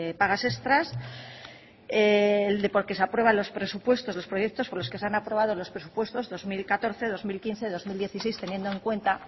pagas extras el de porque se aprueban los presupuestos los proyectos por los que se han aprobado los presupuestos dos mil catorce dos mil quince dos mil dieciséis teniendo en cuenta